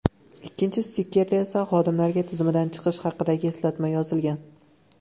Ikkinchi stikerda esa xodimlarga tizimdan chiqish haqidagi eslatma yozilgan.